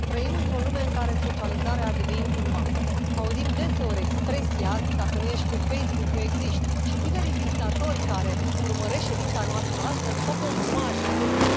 Doamnă președintă, trăim într o lume în care socializarea a devenit un Auzim deseori expresia dacă nu ești pe Facebook, nu exiști și tinerii vizitatori care urmăresc ședința noastră astăzi pot confirma acest lucru.